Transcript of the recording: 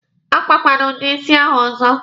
A kpakwara udi isi ahụ ọzọ!